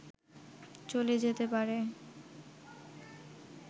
চলে যেতে পারে